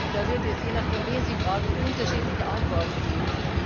Da wird es, je nachdem, wen Sie fragen, unterschiedliche Antworten geben.